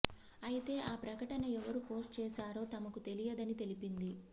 అయితే ఆ ప్రకటన ఎవరు పోస్ట్ చేశారో తమకు తెలియదని తెలిపింది